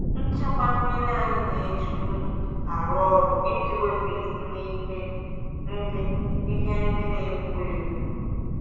Nchekwa mmiri anyị na-eji unyi arụ ọrụ iji wepụ isi na ihe ndị ihe ndị na-egbu egbu.